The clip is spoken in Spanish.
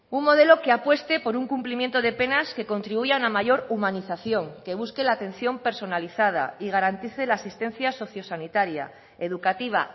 un modelo que apueste por un cumplimiento de penas que contribuya a una mayor humanización que busque la atención personalizada y garantice la asistencia socio sanitaria educativa